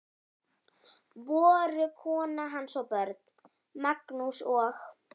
Voru kona hans og börn, Magnús og